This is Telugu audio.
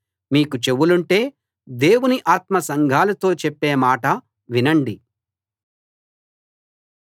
మీకు చెవులుంటే దేవుని ఆత్మ సంఘాలతో చెప్పే మాట వినండి